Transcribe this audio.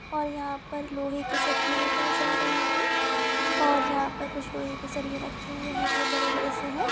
और यहाँ पर लोहे की जा हेंगे और पर लोहे की सरी रखे हुए हेंगे बड़े बड़े से।